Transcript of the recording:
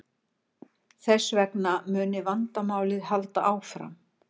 Þess vegna muni vandamálið halda áfram